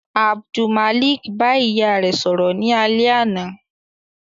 Abdulmalik ba iya rẹ sọrọ ni alẹ ana